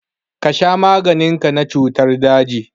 Ka sha maganin ka na cutan daji!